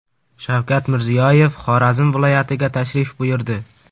Shavkat Mirziyoyev Xorazm viloyatiga tashrif buyurdi.